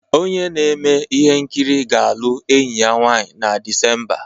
Onye na-eme ihe nkiri ga-alụ enyi ya nwanyị na Disemba.